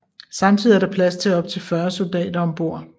Samtidig er der plads til op til 40 soldater om bord